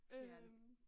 Det er det